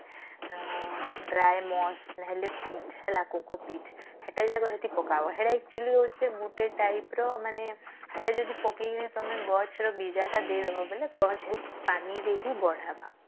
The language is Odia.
ଆଁ dry pos ନାହେଲେ peach ହେଲା kookoo peach ସେଟା ଆଗ ପକବ ସେଟା ହଉଛି actually ଗୁଟେ type ର ମାନେ ସେଟା ଯଦି ତମେ ପାକେଇକିରୀ ତଆମେ ଗଛ ର ବୀଜା ଟା ଦେଇଡବ ବୋଲେ ଗଛ ପାନି ଦେଇକି ବଢାବା